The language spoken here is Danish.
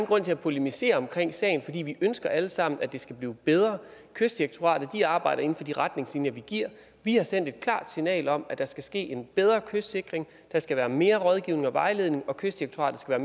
grund til at polemisere omkring sagen for vi ønsker alle sammen at det skal blive bedre kystdirektoratet arbejder inden for de retningslinjer vi giver vi har sendt et klart signal om at der skal ske en bedre kystsikring der skal være mere rådgivning og vejledning og kystdirektoratet skal